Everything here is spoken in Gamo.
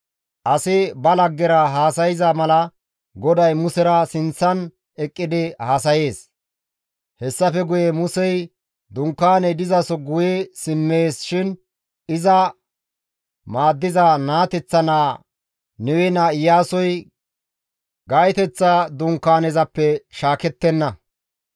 Asi ba laggera haasayza mala GODAY Musera sinththan eqqidi haasayees. Hessafe guye Musey dunkaaney dizaso guye simmees shin iza maaddiza naateththa naa, Nawe naa Iyaasoy gaytoteththa Dunkaanezappe shaakettenna.